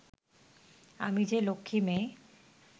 আমি যে লক্ষ্মী মেয়ে